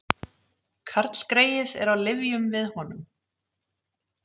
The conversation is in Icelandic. Karlgreyið er á lyfjum við honum